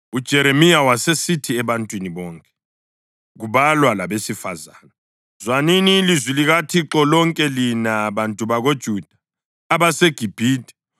UJeremiya wasesithi ebantwini bonke, kubalwa labesifazane, “Zwanini ilizwi likaThixo lonke lina bantu bakoJuda abaseGibhithe.